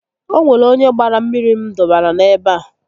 O nwere onye gbaara mmiri m dọbara n'ebe a